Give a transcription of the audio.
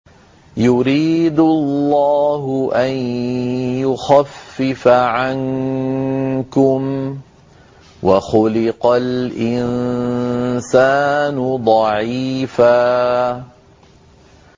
يُرِيدُ اللَّهُ أَن يُخَفِّفَ عَنكُمْ ۚ وَخُلِقَ الْإِنسَانُ ضَعِيفًا